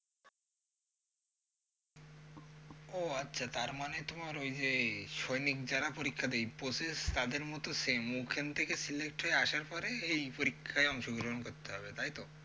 ও আচ্ছা তারমানে তোমার ওই যে সৈনিক যারা পরীক্ষা দেয় process তাদের মত same ওখান থেকে select হয়ে আসার পরে এই পরীক্ষায় অংশগ্রহণ করতে হবে, তাই তো?